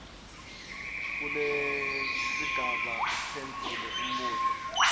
kulesigaba uphendvule umbuto